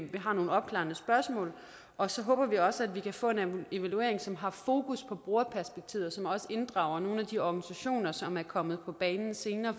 vi har nogle opklarende spørgsmål og så håber vi også at vi kan få en evaluering som har fokus på brugerperspektivet og som også inddrager nogle af de organisationer som er kommet på banen senere